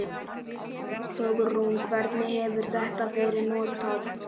Hugrún: Hvernig hefur þetta verið notað?